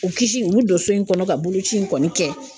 U kisi , ye bi don so in kɔnɔ ka boloci in kɔni kɛ.